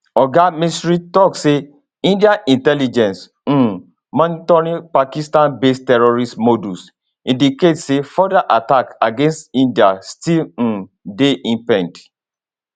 oga misri tok say indian intelligence um monitoring of pakistanbased terrorist modules indicate say further attacks against india still um dey impend